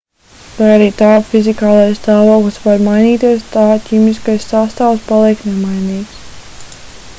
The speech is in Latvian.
lai arī tā fizikālais stāvoklis var mainīties tā ķīmiskais sastāvs paliek nemainīgs